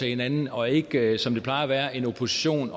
hinanden og ikke som det plejer at være en opposition